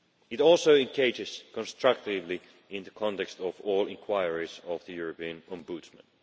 It also engages constructively in the context of all inquiries by the European Ombudsman.